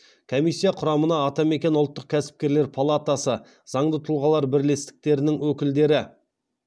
комиссия құрамына атамекен ұлттық кәсіпкерлер палатасы заңды тұлғалар бірлестіктерінің өкілдері